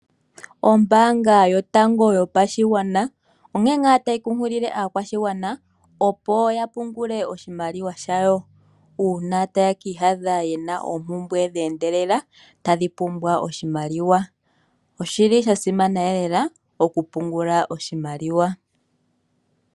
Ombanga yotango yopashigwana onkee ngaa tayi nkunkilile aakwashigwana opo ya pungule oshimaliwa shawo uuna taye kiiyadha ye na oompumbwe dheendelela tadhi pumbwa oshimaliwa oshi li sha simana lela okupungula oshimaliwa.